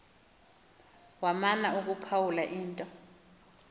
wamana ukuphawula into